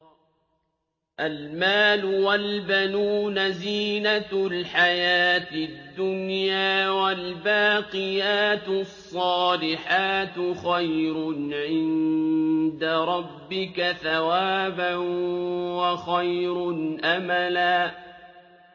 الْمَالُ وَالْبَنُونَ زِينَةُ الْحَيَاةِ الدُّنْيَا ۖ وَالْبَاقِيَاتُ الصَّالِحَاتُ خَيْرٌ عِندَ رَبِّكَ ثَوَابًا وَخَيْرٌ أَمَلًا